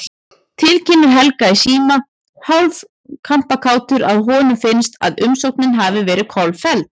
Tilkynnir Helga í síma, hálf kampakátur að honum finnst, að umsóknin hafi verið kolfelld.